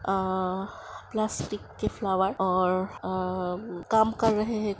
अह plastic के flower और आअह काम कर रहे है।